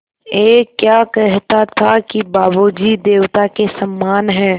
ऐं क्या कहता था कि बाबू जी देवता के समान हैं